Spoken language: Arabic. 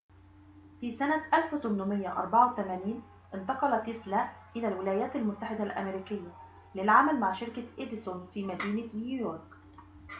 في سنة 1884 انتقل تيسلا إلى الولايات المتحدة الأمريكية للعمل مع شركة إديسون في مدينة نيويورك